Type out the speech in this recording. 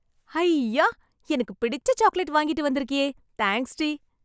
ஹைய்யா... எனக்கு பிடிச்ச சாக்லெட் வாங்கிட்டு வந்துருக்கியே... தேங்ஸ்டி..